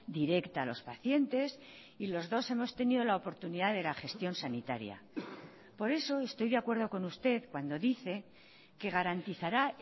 directa a los pacientes y los dos hemos tenido la oportunidad de la gestión sanitaria por eso estoy de acuerdo con usted cuando dice que garantizará